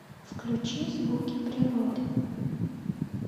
включи звуки природы